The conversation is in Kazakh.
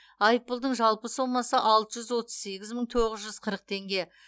айыппұлдың жалпы сомасы алты жүз отыз сегіз мың тоғыз жүз қырық теңге